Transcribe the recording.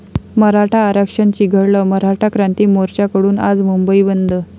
मराठा आरक्षण चिघळलं, मराठा क्रांती मोर्चाकडून आज मुंबई बंद